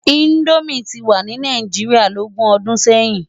Indómi ti wá ni Náijiriá lógún òdún sèyin